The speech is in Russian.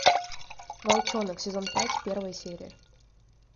волчонок сезон пять первая серия